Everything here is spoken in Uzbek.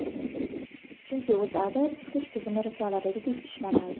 Chunki O‘zAda isitish tizimi risoladagidek ishlamaydi.